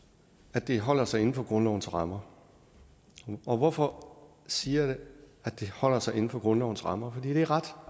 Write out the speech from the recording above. at det holder sig inden for grundlovens rammer og hvorfor siger jeg at det holder sig inden for grundlovens rammer fordi det er ret